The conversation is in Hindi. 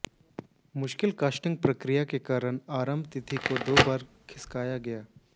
मुश्किल कास्टिंग प्रक्रिया के कारण आरंभ तिथि को दो बार खिसकाया गया